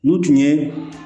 N'u tun ye